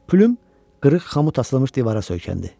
Plyum qırıq xamut asılmış divara söykəndi.